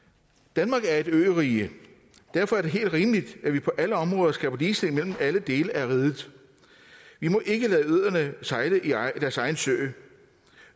danmark er et ørige og derfor er det helt rimeligt at vi på alle områder skaber ligestilling mellem alle dele af riget vi må ikke lade øerne sejle deres egen sø